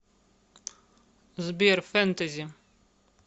сбер фентези